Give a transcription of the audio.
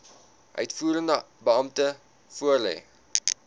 uitvoerende beampte voorlê